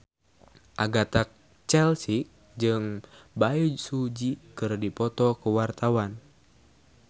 Agatha Chelsea jeung Bae Su Ji keur dipoto ku wartawan